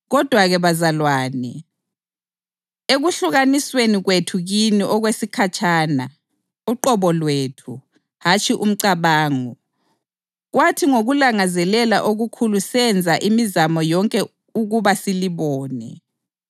Kodwa-ke, bazalwane, ekuhlukanisweni kwethu kini okwesikhatshana (uqobo lwethu, hatshi umcabango), kwathi ngokulangazelela okukhulu senza imizamo yonke ukuba silibone.